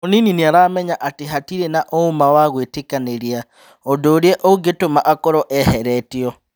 Mũnini nĩaramenya atĩ hatirĩ na ũũma wa gũĩtĩkanĩria ũndũ ũrĩa ũngĩtũma akorwo eheretio.